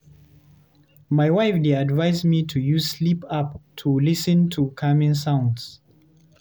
My wife dey advise me to use sleep app to lis ten to calming sounds.